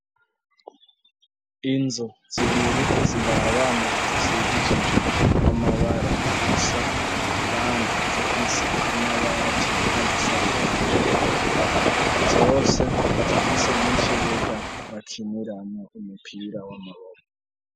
Inzu zibiri ziri abana zishigishije amabara asa, kandi zifise amabati azisakaje zose zifise n'ikibuga bakiniramo umupira wamuroro.